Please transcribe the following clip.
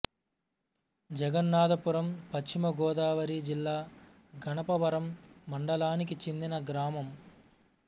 జగన్నాధపురం పశ్చిమ గోదావరి జిల్లా గణపవరం మండలానికి చెందిన గ్రామం